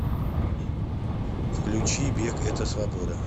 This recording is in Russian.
включи бег это свобода